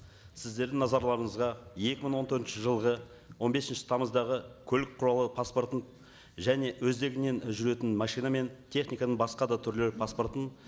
сіздердің назарларыңызға екі мың он төртінші жылғы он бесінші тамыздағы көлік құралы паспортын және өздігінен жүретін машина мен техниканың басқа да түрлері паспортының